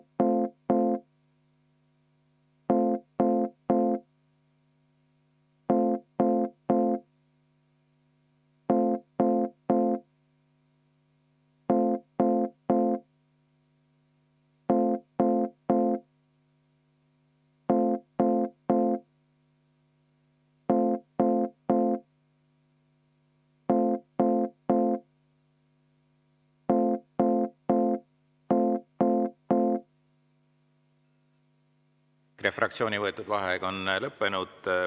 EKRE fraktsiooni võetud vaheaeg on lõppenud.